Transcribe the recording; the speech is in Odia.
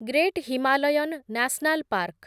great Himalayan national park